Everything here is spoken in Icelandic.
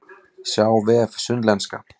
Sjá vef Sunnlenska